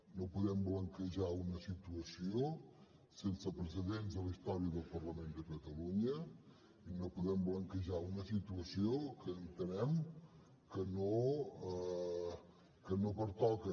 no podem blanquejar una situació sense precedents a la història del parlament de catalunya i no podem blanquejar una situació que entenem que no pertoca